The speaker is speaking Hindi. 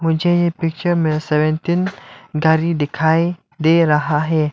मुझे ये पिक्चर में सेवनटीन गाड़ी दिखाई दे रहा है।